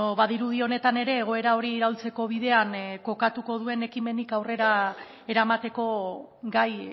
badirudi honetan ere egoera hori iraultzeko bidean kokatuko duen ekimenik aurrera eramateko gai